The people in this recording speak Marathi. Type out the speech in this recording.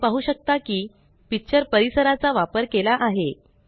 तुम्ही पाहु शकता की पिक्चर परिसराचा वापर केला आहे